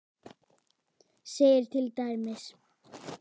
segir til dæmis